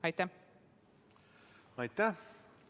Aitäh!